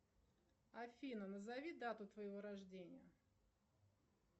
афина назови дату твоего рождения